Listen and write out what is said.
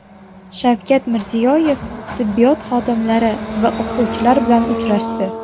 Shavkat Mirziyoyev tibbiyot xodimlari va o‘qituvchilar bilan uchrashdi.